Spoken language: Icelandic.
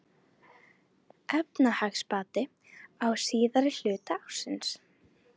Efnahagsbati á síðari hluta ársins